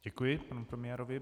Děkuji panu premiérovi.